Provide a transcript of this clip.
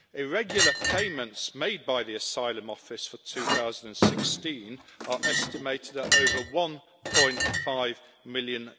Irregular payments made by the Asylum Office for 2016 are estimated at over EUR 1.5 million.